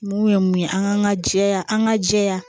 Mun ye mun ye an ka jɛya an ka jɛya